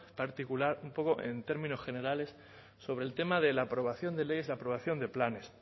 particular un poco en términos generales sobre el tema de la aprobación de leyes la aprobación de planes